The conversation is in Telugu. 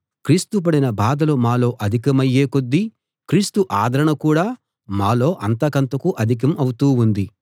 క్రీస్తు పడిన బాధలు మాలో అధికమయ్యే కొద్దీ క్రీస్తు ఆదరణ కూడా మాలో అంతకంతకూ అధికం అవుతూ ఉంది